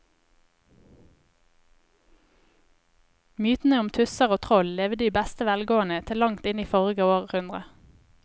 Mytene om tusser og troll levde i beste velgående til langt inn i forrige århundre.